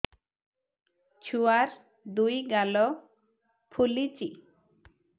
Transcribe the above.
ଛୁଆର୍ ଦୁଇ ଗାଲ ଫୁଲିଚି